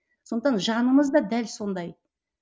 сондықтан жанымыз да дәл сондай